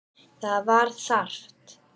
Það var þarft.